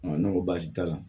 ne ko baasi t'a la